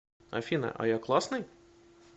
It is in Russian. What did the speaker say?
афина а я классный